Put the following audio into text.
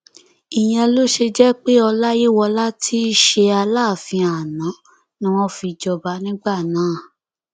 ìyẹn ló ṣe jẹ pé ọláyíwọlá tí í ṣe aláàfin àná ni wọn fi jọba nígbà náà